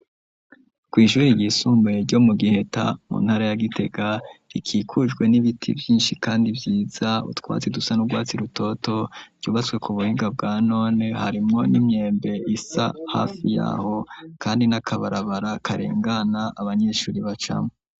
Kw’ishuri ryisumbuye ryo mu giheta mu ntara ya gitega rikikujwe n'ibiti vyinshi kandi vyiza ,utwatsi dusa n'urwatsi rutoto ryubatswe ku buhinga bwa none harimwo n'imyembe isa hafi yaho kandi n'akabarabara karengana abanyeshuri bacamwo.